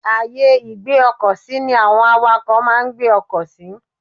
Ààyè ìgbé ọkọ̀ sí ní àwọn àwàkọ̀ máa ń gbé ọkọ̀ sí.